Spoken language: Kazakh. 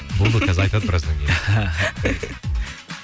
болды онда айтады біраздан кейін